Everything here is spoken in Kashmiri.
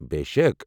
بے شَک!